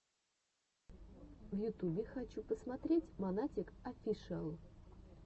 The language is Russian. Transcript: в ютубе хочу посмотреть монатик офишиал